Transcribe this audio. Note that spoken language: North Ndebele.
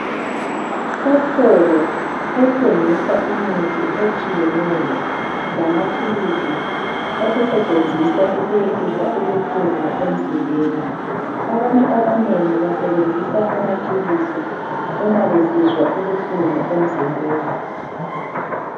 Esitolo esithengisa imithi etshiyeneyo lamaphilisi okusetshenziswa ukwehlisa ubuhlungu emzimbeni. Abantu abanengi basebenzisa amaphilisi uma besizwa ubuhlungu emzimbeni.